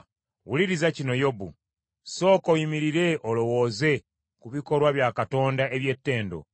“Wuliriza kino Yobu; sooka oyimirire olowooze ku bikolwa bya Katonda eby’ettendo.